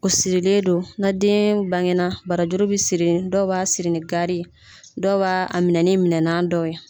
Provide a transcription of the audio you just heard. O sirilen do na den bange na barajuru bɛ siri dɔw b'a siri ni gari ye dɔw b'a minɛ ni minɛna dɔw ye.